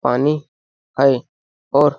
पानी है और --